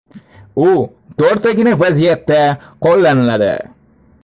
U to‘rttagina vaziyatda qo‘llaniladi.